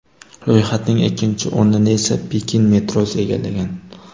Ro‘yxatning ikkinchi o‘rnini esa Pekin metrosi egallagan.